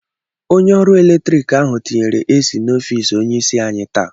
Onye ọrụ latrik ahụ tinyere AC n'ọfis onyeisi anyị taa.